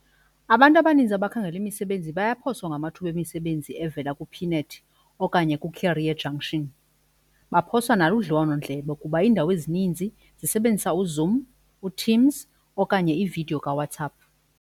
Abantu abaninzi abakhangela imisebenzi bayaphoswa ngamathuba emisebenzi evela kuPnet okanye kuCareer Junction. Baphoswa naludliwanondlebe kuba iindawo ezininzi zisebenzisa uZoom, uTeams okanye ividiyo kaWhatsApp.